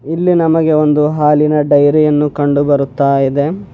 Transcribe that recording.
ಇಲ್ಲಿ ನಮಗೆ ಒಂದು ಹಾಲಿನ ಡೈರಿ ಯನ್ನು ಕಂಡು ಬರುತ್ತಾ ಇದೆ.